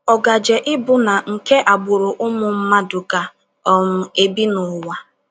Ọ gaje ịbụ nna nke agbụrụ ụmụ mmadụ ga um - ebi n’ụwa.